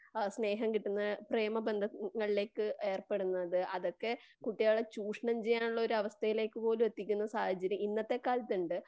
ആ സ്നേഹം കിട്ടുന്ന പ്രമബന്ധങ്ങളിലേക്ക് ഏർപ്പെടുന്നത്. അതൊക്കെ കുട്ടികളെ ചുഷണം ചെയ്യാനുള്ളൊരു അവസ്ഥയിലേക്ക് പോലും എത്തിക്കുന്ന സാഹചര്യമുണ്ട് .ഇന്നത്തെ കാലത്തുണ്ട്.